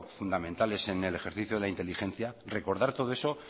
fundamentales en el ejercicio de la inteligencia recordar todo eso